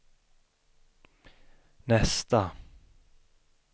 nästa